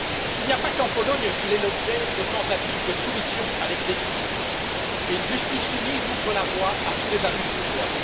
Il n'y a pas qu'en Pologne qu'il est l'objet de tentatives de soumission à l'exécutif, et une justice soumise ouvre la voie à tous les abus de pouvoir.